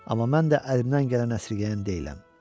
Amma mən də əlimdən gələn əsirgəyən deyiləm.